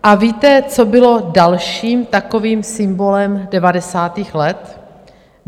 A víte, co bylo dalším takovým symbolem devadesátých let?